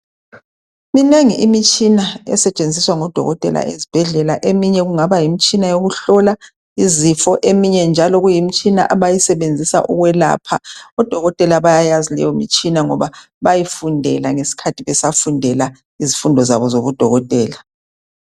Minengi imitshina esetshenziswa ngodokotela ezibhedlela .Eminye kungaba yimitshina yokuhlola izifo eminye njalo kuyimitshina abayisebenzisa ukwelapha . Odokotela bayayazi leyomtshina ngoba bayifundela ngesikhathi besafundela izifundo zabo zobudokotela .